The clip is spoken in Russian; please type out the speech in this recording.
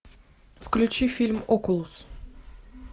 включи фильм окулус